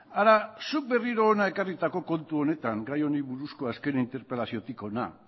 hara zuk berriro hona ekarritako kontu honetan gai honi buruzko azken interpelaziotik hona